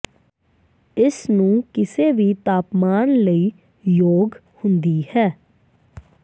ਇਸ ਨੂੰ ਕਿਸੇ ਵੀ ਤਾਪਮਾਨ ਲਈ ਯੋਗ ਹੁੰਦੀ ਹੈ